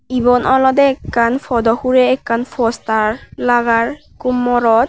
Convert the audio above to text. ebon olode ekkan podow hurey ekkan postar lagar ikko morot.